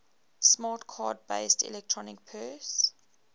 smart card based electronic purse